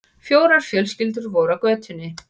Fjórar fjölskyldur voru á götunni.